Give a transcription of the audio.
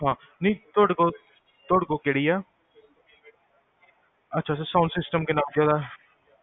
ਹਾਂ, ਨਹੀ ਤੋਡੇ ਕੋਲ, ਤੋਡੇ ਕੋਲ ਕੇਹੜੀ ਆ? ਅਛਾ ਅਛਾ sound system ਕਿੰਨਾ ਓਦਾ?